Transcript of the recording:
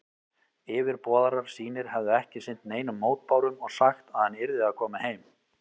Yfirboðarar sínir hefðu ekki sinnt neinum mótbárum og sagt, að hann yrði að koma heim.